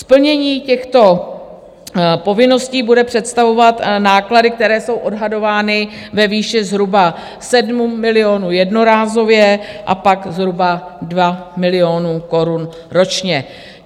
Splnění těchto povinností bude představovat náklady, které jsou odhadovány ve výši zhruba 7 milionů jednorázově a pak zhruba 2 miliony korun ročně.